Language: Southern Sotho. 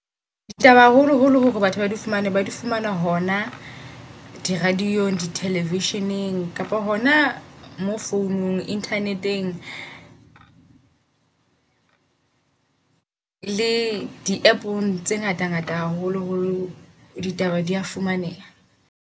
Ditaba haholo holo hore batho ba di fumane ba di fumana hona di radio-ng, di-television-eng kapa hona mo founung. Internet-eng le di App-ong tse ngata ngata haholo holo ditaba dia fumaneha.